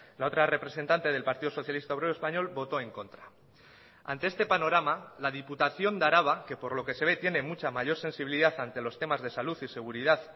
la otra representante del partido socialista obrero español votó en contra ante este panorama la diputación de araba que por lo que se ve tiene mucha mayor sensibilidad ante los temas de salud y seguridad